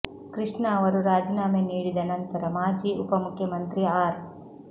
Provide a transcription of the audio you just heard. ಕೃಷ್ಣ ಅವರು ರಾಜೀನಾಮೆ ನೀಡಿದ ನಂತರ ಮಾಜಿ ಉಪ ಮುಖ್ಯಮಂತ್ರಿ ಆರ್